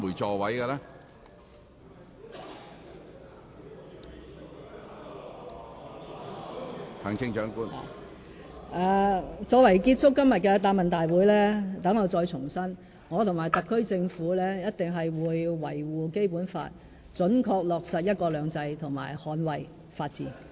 作為今天答問會的結語，讓我重申，我和特區政府一定會維護《基本法》，準確落實"一國兩制"及捍衞法治。